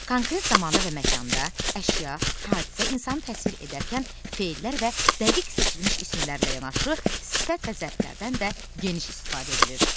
Konkret zamanda və məkanda, əşya, hadisə, insanı təsvir edərkən fellər və dəqiq seçilmiş isimlərlə yanaşı sifət və zərflərdən də geniş istifadə edilir.